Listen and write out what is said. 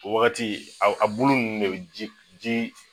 O wagati a bolo nunnu ne bi ji ji